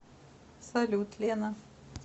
салют лена